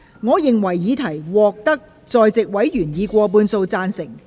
我認為議題獲得在席委員以過半數贊成。